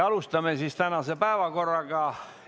Alustame tänase päevakorra käsitlemist.